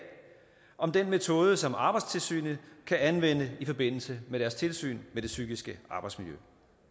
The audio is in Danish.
om den metode som arbejdstilsynet kan anvende i forbindelse med deres tilsyn med det psykiske arbejdsmiljø